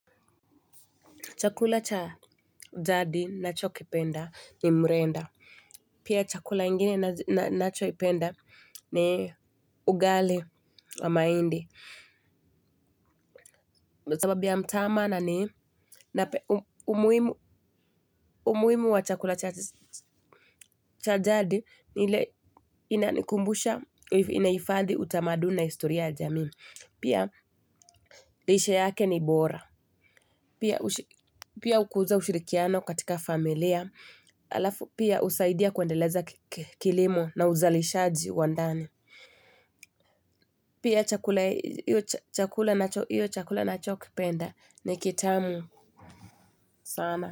Chakula cha daddy nacho kipenda ni mrenda. Pia chakula ingine nacho kipenda ni ugali wa maindi. Sababu ya mtama na ni umuhimu wa chakula cha daddy ni ile inanikumbusha inahifadhi utamaduni na historia ya jamii. Pia lishe yake ni bora. Pia hukuza ushirikiano katika familia. Alafu pia usaidia kuendeleza kilimo na uzalishaji wa ndani. Pia hiyo chakula nachokipenda ni kitamu sana.